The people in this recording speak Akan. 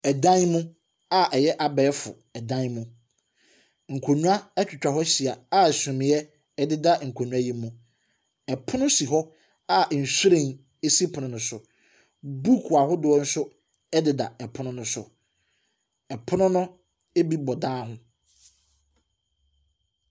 Ɛdan mu a ɛyɛ abɛɛfo ɛdan mu. Nkonwa ɛtwa hɔ ɛhyia a sumiɛ ɛdeda nkonwa yi mu. Ɛpono si hɔ a nhwiren esi pono no so. Book ahodoɔ nso ɛdeda ɛpono no so. Ɛpono no ebi bɔ dan ho.